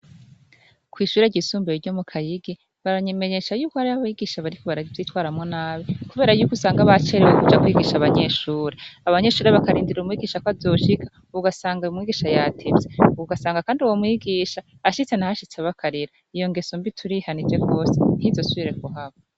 Kw'ishure ryisumbeye ryo mu Kayigi ,baranyemenyesha yuko hari abayigisha bariko baravyitwaramo nabi kubera y'uko usanga bacerewe kuja kwigisha abanyeshuri. Abanyeshuri bakarindira umwigisha ko azoshika ugasanga umwigisha yatevye ugasanga kandi uwo mwigisha ashitse naho ashitse abakarira iyo ngeso mbi turihanije gose ntizosubire kuhaba.